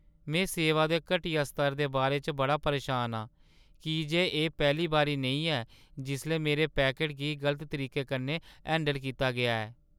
में सेवा दे घटिया स्तर दे बारे च बड़ा परेशान आं, की जे एह् पैह्‌ली बारी नेईं ऐ जिसलै मेरे पैकट गी गलत तरीके कन्नै हैंडल कीता गेआ ऐ।